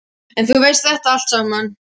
En þú veist þetta allt saman.